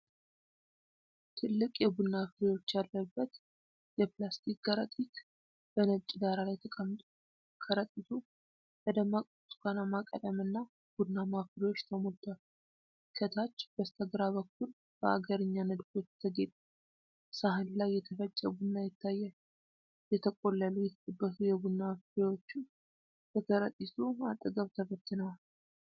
ትልቅ የቡና ፍሬዎች ያለበት የፕላስቲክ ከረጢት በነጭ ዳራ ላይ ተቀምጧል። ከረጢቱ በደማቅ ብርቱካናማ ቀለምና ቡናማ ፍሬዎች ተሞልቷል። ከታች በስተግራ በኩል በአገርኛ ንድፎች የተጌጠ ሳህን ላይ የተፈጨ ቡና ይታያል፤ የተቆለሉ የተጠበሱ የቡና ፍሬዎችም ከከረጢቱ አጠገብ ተበትነዋል።